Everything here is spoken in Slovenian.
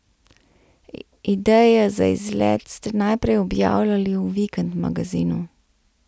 Ideje za izlet ste najprej objavljali v Vikend magazinu.